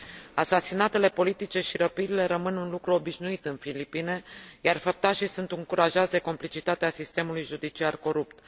Asasinatele politice și răpirile rămân un lucru obișnuit în Filipine, iar făptașii sunt încurajați de complicitatea sistemului judiciar corupt.